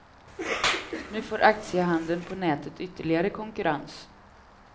Nu får aktiehandeln på nätet ytterligare konkurrens.